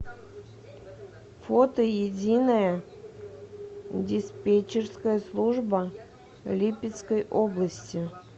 фото единая диспетчерская служба липецкой области